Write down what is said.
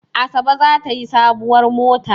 Asabe za ta yi sabuwar mota.